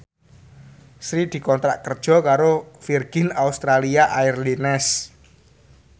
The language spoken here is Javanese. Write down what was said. Sri dikontrak kerja karo Virgin Australia Airlines